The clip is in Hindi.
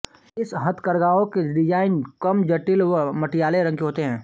इस हथकरघाओं के डिजाइन कम जटिल व मटियाले रंगो के होते है